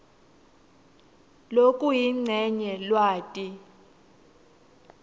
lokuyincenye lwati